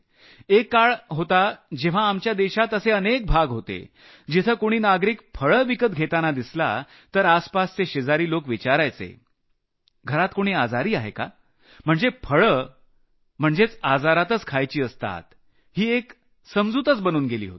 एक काळ होता जेव्हा आपल्या देशात असे अनेक भाग होते जिथं कुणी नागरिक फळं विकत घेताना दिसला तर आसपासचे शेजारी लोक विचारायचे घरात कुणी आजारी आहे का म्हणजे फळं खाणं हि भ्रामक कल्पना होती म्हणजे फळं आजारातच खायची असतात ही एक समजूतच बनून गेली होती